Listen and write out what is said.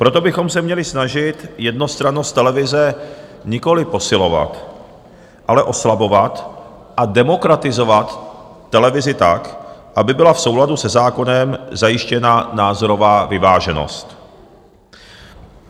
Proto bychom se měli snažit jednostrannost televize nikoliv posilovat, ale oslabovat a demokratizovat televizi tak, aby byla v souladu se zákonem zajištěna názorová vyváženost.